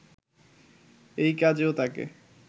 এ কাজেও তাকে